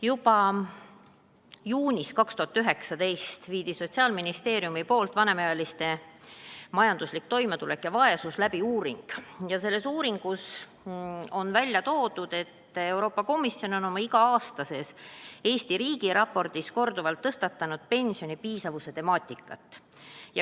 Juba juunis 2019 tehti Sotsiaalministeeriumis uuring "Vanemaealiste majanduslik toimetulek ja vaesus", kus on öeldud, et Euroopa Komisjon on oma iga-aastases Eesti riigiraportis korduvalt tõstatanud pensioni piisavuse temaatika.